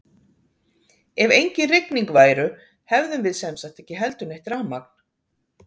ef engin rigning væru hefðum við sem sagt ekki heldur neitt rafmagn!